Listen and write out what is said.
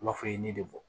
I b'a fɔ i ye ne de bɔ